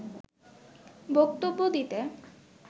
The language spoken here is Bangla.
বক্তব্য দিতে